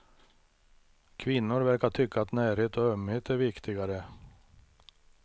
Kvinnor verkar tycka att närhet och ömhet är viktigare.